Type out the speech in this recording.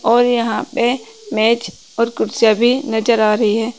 और यहां पे मेज और कुर्सियां भी नजर आ रही हैं।